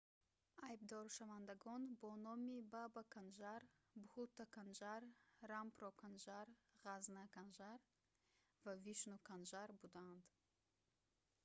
айбдоршавандагон бо номи баба канжар бҳутта канжар рампро канжар ғазза канжар ва вишну канжар буданд